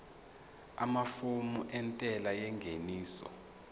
amafomu entela yengeniso